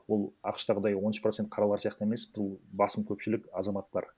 ол ақш тағыдай он үш процент қаралар сияқты емес бұл басым көпшілік азаматтар